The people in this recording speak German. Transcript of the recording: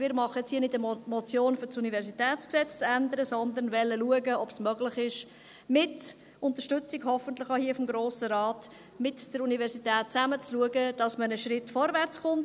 Wir machen jetzt hier jedoch keine Motion, um das UniG zu ändern, sondern wir wollen schauen, ob es möglich ist – hoffentlich mit der Unterstützung des Grossen Rates –, mit der Universität zusammen zu schauen, dass man einen Schritt vorwärtskommt.